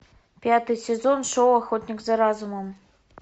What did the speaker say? пятый сезон шоу охотник за разумом